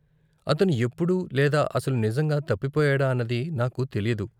అతను ఎప్పుడు లేదా అసలు నిజంగా తప్పిపోయాడా అన్నది నాకు తెలీదు.